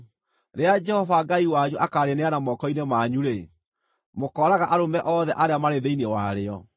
Rĩrĩa Jehova Ngai wanyu akaarĩneana moko-inĩ manyu-rĩ, mũkooraga arũme othe arĩa marĩ thĩinĩ warĩo.